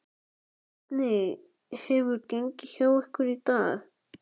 Hvernig hefur gengið hjá ykkur í dag?